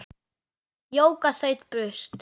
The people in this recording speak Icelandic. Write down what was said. Jóka þaut burt.